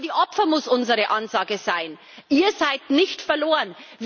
An die Opfer muss unsere Ansage sein Ihr seid nicht verloren.